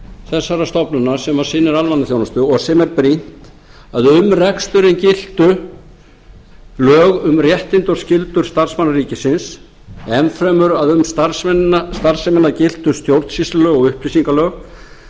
þessarar stofnunar sem sinnir almannaþjónustu og sýna brýnt að um reksturinn giltu lög um réttindi og skyldur starfsmanna ríkisins enn fremur að um starfsemina giltu stjórnsýslulög og upplýsingalög